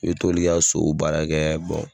I bɛ t'olu ka sow baara kɛ